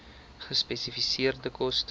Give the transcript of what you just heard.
gespesifiseerde koste